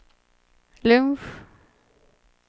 lunch